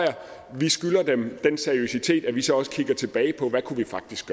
vi skylder dem den seriøsitet at vi så også kigger tilbage på hvad vi faktisk